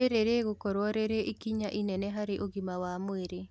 Rĩrĩ rĩgũkorwo rĩrĩ ikinya inene harĩ ũgima wa mwĩrĩ